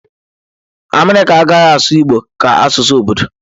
America agaghị asụ igbo ka asụsụ obodo.